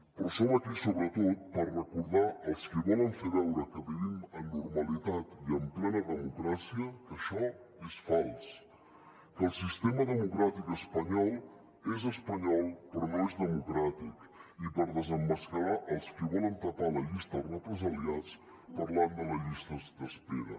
però som aquí sobretot per recordar als qui volen fer veure que vivim en normalitat i en plena democràcia que això és fals que el sistema democràtic espanyol és espanyol però no és democràtic i per desemmascarar els qui volen tapar la llista de represaliats parlant de les llistes d’espera